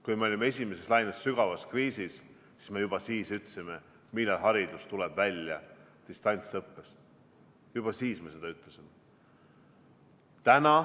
Kui me olime esimeses laines, sügavas kriisis, juba siis me küsisime, millal haridus tuleb välja distantsõppest, juba siis me seda küsisime.